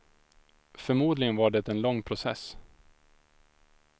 Förmodligen var det en lång process.